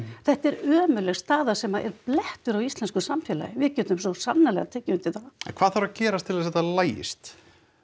þetta er ömurleg staða sem er blettur á íslensku samfélagi við getum svo sannarlega tekið undir það en hvað þarf að gerast til þess að þetta lagist